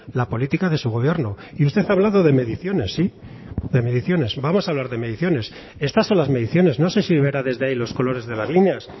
la política de su gobierno y usted ha hablado de mediciones sí de mediciones vamos a hablar de mediciones estas son las mediciones no sé si verá desde ahí los colores de las líneas